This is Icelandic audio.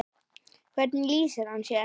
Hvernig lýsir hann sér?